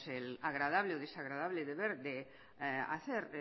el agradable o desagradable de ver de hacer